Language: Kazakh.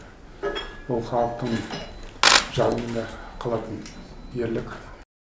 ол халықтың жадында қалатын ерлік